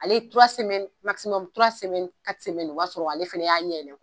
Ale o b'a sɔrɔ ale fɛnɛ y'a ɲɛ yɛlɛ.